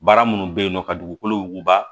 Baara minnu bɛ yen nɔ ka dugukolo wuguba